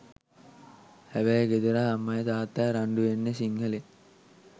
හැබැයි ගෙදර අම්මයි තාත්තයි රංඩුවෙන්නේ සිංහලෙන්.